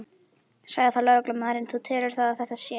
Sagði þá lögreglumaðurinn: Þú telur það að þetta sé?